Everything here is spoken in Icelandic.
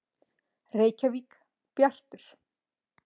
Reykjavík: Bjartur.